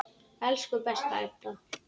Elsku besta Edda.